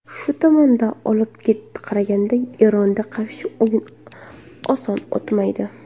Shu tomondan olib qaraganda, Eronga qarshi o‘yin oson o‘tmaydi.